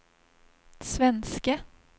svenske